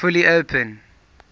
kept fully open